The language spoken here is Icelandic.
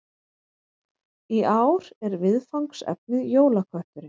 Í ár er viðfangsefnið Jólakötturinn